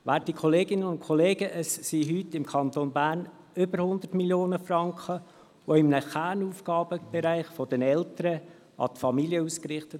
Werte Kolleginnen und Kollegen, heute werden im Kanton Bern über 100 Mio. Franken in einem Kernaufgabenbereich der Eltern an die Familien ausgerichtet.